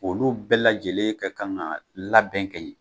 Olu bɛɛ lajɛlen kɛ kan ka labɛn kɛ ɲɛ.